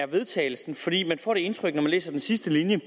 vedtagelse fordi man får det indtryk når man læser den sidste linje